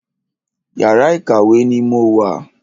Yàrá ìkàwé ni mo wà.